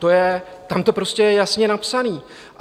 Tam to prostě je jasně napsané.